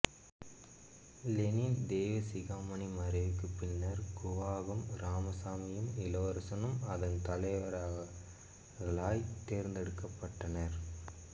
Lenin Deivasigamani மறைவுக்கு பின்னர் கூவாகம் இராமசாமியும் இளவரசனும் அதன் தலைவர்களாய் தேர்ந்தெடுக்கப்பட்டனர்